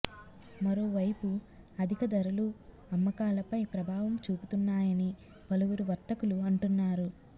మరోవైపు అధిక ధరలూ అమ్మకాలపై ప్రభావం చూపుతున్నాయని పలువురు వర్తకులు అంటున్నారు